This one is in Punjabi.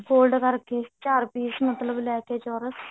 fold ਕਰਕੇ ਚਾਰ piece ਮਤਲਬ ਲੈ ਕੇ ਚੋਰਸ